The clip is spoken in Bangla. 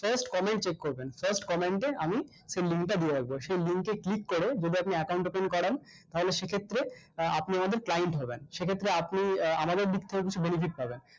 first comment check করবেন first comment এ আমি সেই link টা দিয়ে রাখবো সেই link এ click করে যদি আপনি account open করান তাহলে সেক্ষেত্রে আহ আপনি আমাদের client হবেন সেক্ষেত্রে আপনি আহ আমাদের দিক থেকে কিছু benefit পাবেন